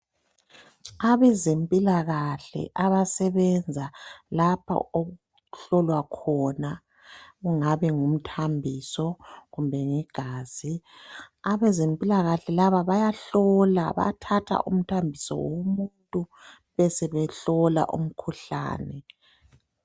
Abazempilakahle abasebenza lapho okuhlolwa khona kungaba ngumthambiso kumbe ligazi abezempikahle laba bayahlola bayathatha umthambiso womuntu besebehlola umkhuhlani